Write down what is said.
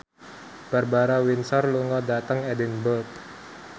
Barbara Windsor lunga dhateng Edinburgh